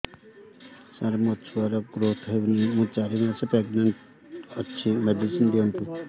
ସାର ମୋର ଛୁଆ ର ଗ୍ରୋଥ ହଉନି ମୁ ଚାରି ମାସ ପ୍ରେଗନାଂଟ ଅଛି ମେଡିସିନ ଦିଅନ୍ତୁ